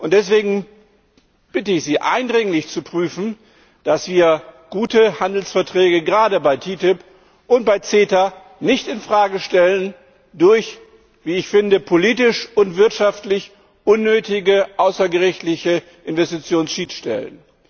Deswegen bitte ich Sie eindringlich, zu prüfen, dass wir gute Handelsverträge gerade bei der TTIP und beim CETA nicht in Frage stellen durch wie ich finde politisch und wirtschaftlich unnötige außergerichtliche Investitionsschiedsstellen.